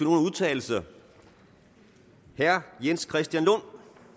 udtale sig herre jens christian lund